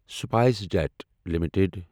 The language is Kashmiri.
spice jet limited